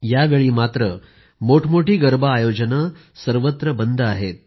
यावेळी मोठमोठे गरबा आयोजन बंद आहेत